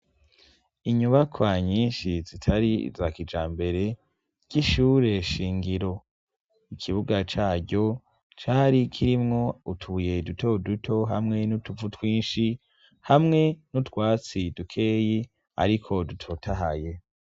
Inyubaka nyinshi zitar'izakijambere ry'ishure shingiro. Ikibuga caryo, cari kirimwo utubuye duto duto, hamwe n'utuvu twinshi, hamwe n'utwatsi dukeyi, ariko dutotahaye.